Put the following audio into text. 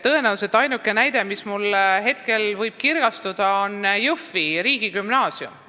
Tõenäoliselt ainuke näide, mis mulle hetkel kirgastub, on Jõhvi riigigümnaasium.